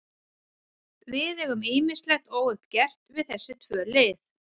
Við eigum ýmislegt óuppgert við þessi tvö lið.